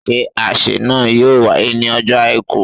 Ṣé àsè náà yóò wáyé ní ọjọ́ Àìkú